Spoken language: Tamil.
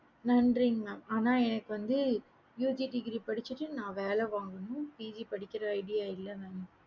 நன்றிங்க mam எனக்கு வந்து UG degree படிச்சிடு நான் வேல வாங்கணும் PG படிக்கற idea இல்ல